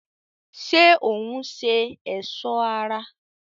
ṣé òún ṣe ẹ̀sọ́ ara?